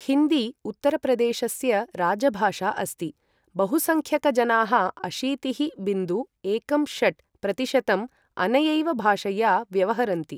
हिन्दी उत्तरप्रदेशस्य राजभाषा अस्ति, बहुसंख्यकजनाः अशीतिः बिन्दु एकं षट् प्रतिशतम् अनयैव भाषया व्यवहरन्ति।